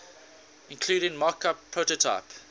including mockup prototype